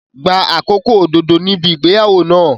Gba àkókò òdodo níbi ìgbéyàwó náà.